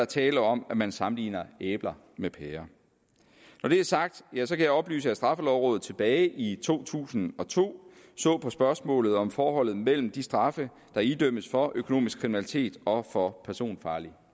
tale om at man sammenligner æbler med pærer når det er sagt kan jeg oplyse at straffelovrådet tilbage i to tusind og to så på spørgsmålet om forholdet mellem de straffe der idømmes for økonomisk kriminalitet og for personfarlig